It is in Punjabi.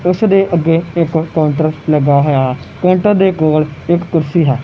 ਉਸ ਦੇ ਅੱਗੇ ਇਕ ਕਾਊਂਟਰ ਲੱਗਾ ਹੋਇਆ ਕਾਊਂਟਰ ਦੇ ਕੋਲ ਇੱਕ ਕੁਰਸੀ ਹੈ।